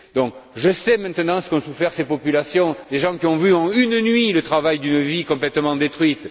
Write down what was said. Donc, je sais maintenant ce qu'ont souffert ces populations, des gens qui ont vu, en une nuit, le travail d'une vie complètement détruit.